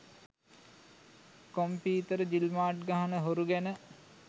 computer ජිල්මාට් ගහන හොරු ගැන